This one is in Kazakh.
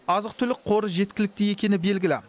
азық түлік қоры жеткілікті екені белгілі